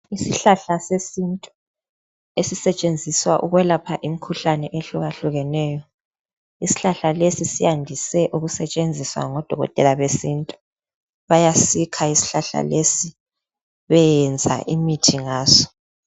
Isihlahla sesintu esisetshenziswa ukwelapha imkhuhlane ehlukahlukeneyo. Isihlahla lesi siyandise ukusetshenziswa ngodokotela besintu. Bayasikha isihlahla lesi beyeyenza imithi ngaso.